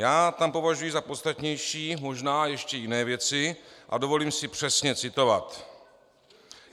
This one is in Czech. Já tam považuji za podstatnější možná ještě jiné věci a dovolím si přesně citovat: